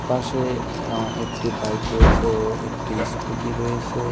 পাশে একটি বাইক রয়েছে ও একটি স্কুটি রয়েছে।